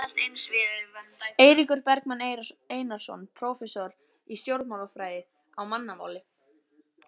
Eiríkur Bergmann Einarsson, prófessor í stjórnmálafræði: Á mannamáli?